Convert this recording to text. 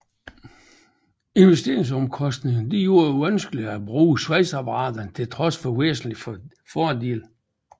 Investeringsomkostningerne gjorde det vanskeligere at bruge svejseapparater til trods for væsentlige fordele